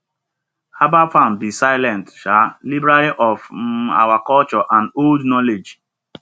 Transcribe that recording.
herbal farms be silent um library of um our culture and old knowledge